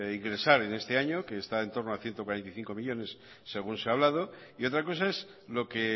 ingresar en este año que está en torno a ciento cuarenta y cinco millónes según se ha hablado y otra cosa es lo que